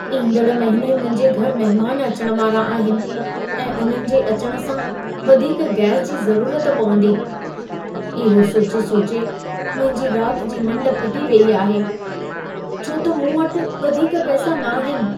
ईंदड़ महिने मुंहिंजे घर महिमान अचण वारा आहिनि ऐं उन्हनि जे अचण सां वधीक गैस जी ज़रूरत पवंदी। इहो सोचे सोचे मुंहिंजी राति जी निंढ फिटी वेई आहे, छो त मूं वटि वधीक पैसा नाहिनि।